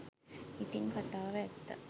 ඉතිං කතාව ඇත්ත